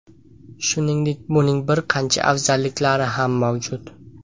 Shuningdek, buning bir qancha afzalliklari ham mavjud.